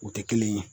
U tɛ kelen ye